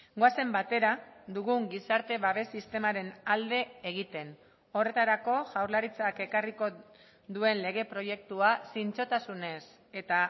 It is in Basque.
goazen batera dugun gizarte babes sistemaren alde egiten horretarako jaurlaritzak ekarriko duen lege proiektua zintzotasunez eta